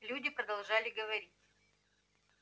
люди продолжали говорить